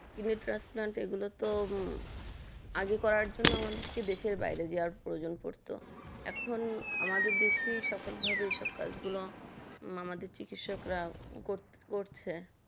personal এগুলোতো আগে করার জন্য আমাদের দেশের বাইরে প্রয়োজন পড়তো আমাদের এখন আমাদের দেশের সফল ভাবে এই কাজগুলো আমাদের চিকিৎসরা করছে